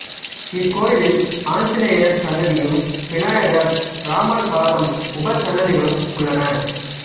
இக்கோயிலில் ஆஞ்சநேயர் சன்னதியும் விநாயகர் ராமர் பாதம் உபசன்னதிகளும் உள்ளன